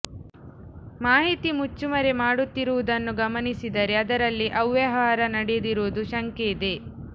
ಮಾಹಿತಿ ಮುಚ್ಚುಮರೆ ಮಾಡುತ್ತಿರುವುದನ್ನು ಗಮನಿಸಿದರೆ ಅದರಲ್ಲಿ ಅವ್ಯವಹಾರ ನಡೆದಿರುವ ಶಂಕೆ ಇದೆ